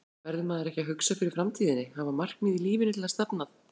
Verður maður ekki að hugsa fyrir framtíðinni, hafa markmið í lífinu til að stefna að?